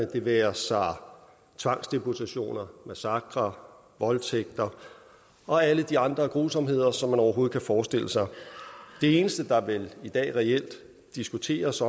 det være sig tvangsdeportationer massakrer voldtægter og alle de andre grusomheder som man overhovedet kan forestille sig det eneste der vel reelt diskuteres